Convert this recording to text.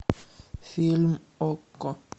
фильм окко